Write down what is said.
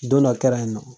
Don dɔ kɛra yen nɔ